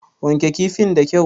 Wanke kifin da kyau!